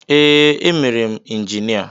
Ee, emere m injinia.